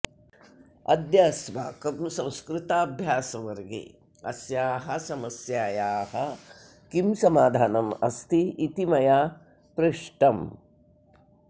अद्य अस्माकं संस्कृताभ्यासवर्गे अस्याः समस्यायाः किं समाधानम् अस्ति इति मया पृष्टम्